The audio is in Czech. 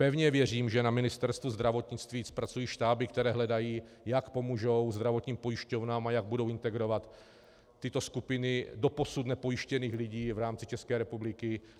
Pevně věřím, že na Ministerstvu zdravotnictví pracují štáby, které hledají, jak pomůžou zdravotním pojišťovnám a jak budou integrovat tyto skupiny doposud nepojištěných lidí v rámci České republiky.